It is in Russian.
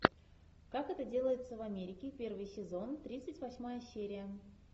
как это делается в америке первый сезон тридцать восьмая серия